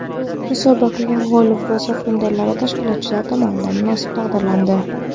Musobaqa g‘olib va sovrindorlari tashkilotchilar tomonidan munosib taqdirlandi.